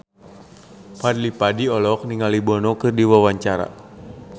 Fadly Padi olohok ningali Bono keur diwawancara